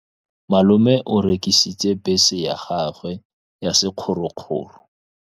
Malome o rekisitse bese ya gagwe ya sekgorokgoro.